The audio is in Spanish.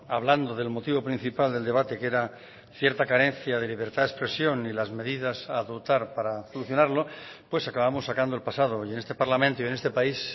hablando del motivo principal del debate que era cierta carencia de libertad de expresión y las medidas a adoptar para solucionarlo pues acabamos sacando el pasado y en este parlamento y en este país